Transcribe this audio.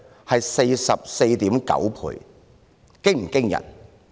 是 44.9 倍，這是否驚人呢？